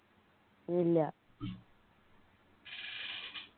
ഇല്ല